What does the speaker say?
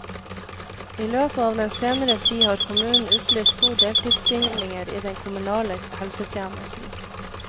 I løpet av den senere tid har kommunen utlyst to deltidsstillinger i den kommunale helsetjenesten.